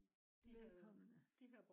de velkomne